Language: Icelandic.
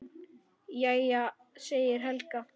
Jæja, segir Helga.